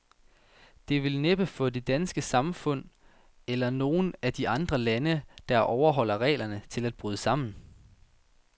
Det vil næppe få det danske samfund, eller nogen af de andre lande, der overholder reglerne, til at bryde sammen.